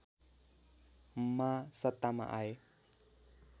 मा सत्तामा आए